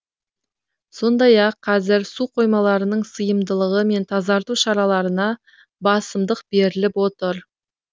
сондай ақ қазір су қоймаларының сыйымдылығы мен тазарту шараларына басымдық беріліп отыр